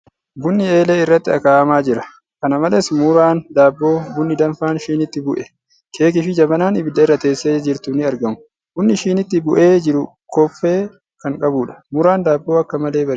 Bunni eelee irratti akaa'amaa jira. Kana malees, muraan daabboo, bunni danfaan shiniitti bu'e, keekii fi jabanaan ibidda irrra teessee jirtu ni aragamu. Bunni shiniitti bu'ee jiru koffee kan qabuudha. Muraan daabboo akka malee bareeda.